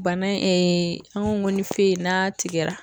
Bana in an ko ko ni n'a tigɛra